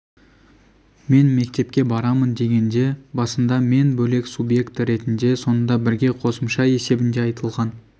мен мектепке барамын дегенде басында мен бөлек субъекті ретінде соңында бірге қосымша есебінде айтылған